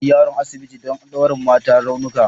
Ina kai yaron asibiti don ɗaure mata raunuka